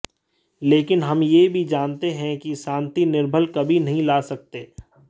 लेकिन हम ये भी जानते हैं कि शांति निर्बल कभी नहीं ला सकते